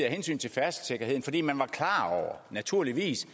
hensyn til færdselssikkerheden fordi man naturligvis